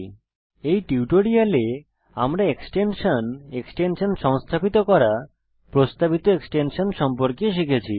এই টিউটোরিয়ালে আমরা এক্সটেনশান এক্সটেনশান সংস্থাপিত করা প্রস্তাবিত এক্সটেনশান সম্পর্কে শিখেছি